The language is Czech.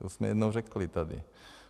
To jsme jednou řekli tady.